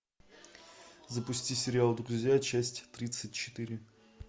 запусти сериал друзья часть тридцать четыре